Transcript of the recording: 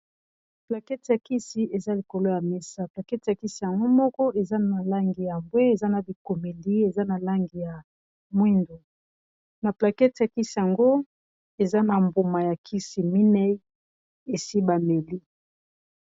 Plaquete ya kisi eza likolo ya mesa, plaquete ya kisi yango moko eza na langi ya mbwe, eza na bikomeli eza na langi ya mwindo, na plaquete ya kisi yango eza na mbuma ya kisi mineyi esi ba meli.